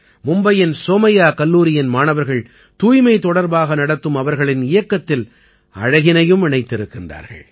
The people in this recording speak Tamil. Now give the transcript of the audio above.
மும்பையின் சோமையா கல்லூரியின் மாணவர்கள் தூய்மை தொடர்பாக நடத்தும் அவர்களின் இயக்கத்தில் அழகினையும் இணைத்திருக்கின்றார்கள்